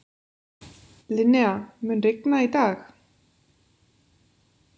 Linnea, mun rigna í dag?